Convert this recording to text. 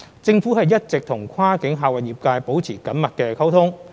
政府一直與跨境客運業界保持緊密溝通。